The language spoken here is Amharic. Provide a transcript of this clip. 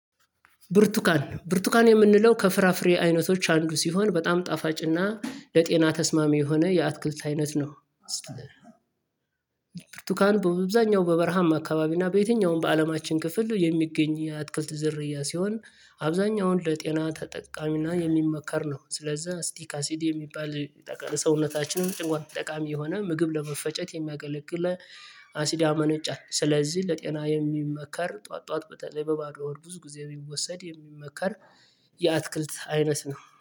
ብርቱካን ብርቱካን የምንለው ከፍራፍሬ አይነቶች አንዱ ሲሆን በጣም ጣፋጭና ለጤና ተስማሚ የሆነ የአትክልት አይነት ነው። ብርቱካን በአብዛኛው በበረሃማ አካባቢ እና በየትኛውም በአለማችን ክፍል የሚገኝ የአትክልት ዝርያ ሲሆን አብዛኛውን ለጤና ተጠቃሚና የሚመከር ነው። ስለዛ አሲዲ ካሲዲ የሚባል ሰውነታችንን ጭንቋት ጠቃሚ የሆነ ምግብ ለመፈጨት የሚያገለግል አሲድ ያመነጫል። ስለዚህ ለጤና የሚመከር ጠዋት ጠዋት በተለይ በባዶ ወር ብዙ ጊዜ የሚወሰድ የሚመከር። የአትክልት አይነት ነው